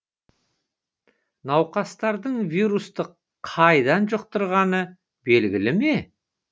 науқастардың вирусты қайдан жұқтырғаны белгілі ме